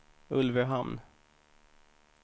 Ulvöhamn